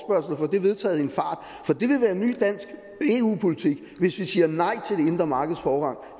det vedtaget i en fart for det vil være ny dansk eu politik hvis vi siger nej til det indre markeds forrang